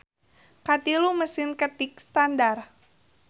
Katilu Mesin ketik standar.